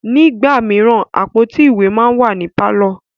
Nígbà míràn, àpótí ìwé máa ń wà ní pàlọ́